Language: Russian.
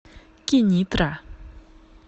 кенитра